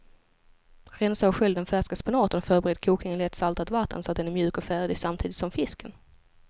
Rensa och skölj den färska spenaten och förbered kokning i lätt saltat vatten så att den är mjuk och färdig samtidigt som fisken.